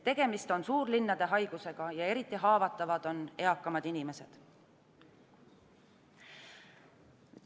Tegemist on suurlinnade haigusega ja eriti haavatavad on eakamad inimesed.